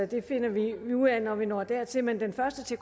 det finder vi ud af når vi når dertil men den første til